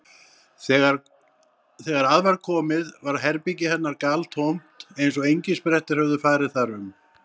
Þegar að var komið var herbergi hennar galtómt eins og engisprettur hefðu farið þar um.